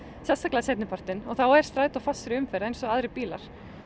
sérstaklega seinni partinn og þá er strætó fastur í umferðinni eins og aðrir bílar